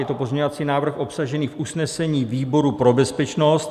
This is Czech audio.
Je to pozměňovací návrh obsažený v usnesení výboru pro bezpečnost.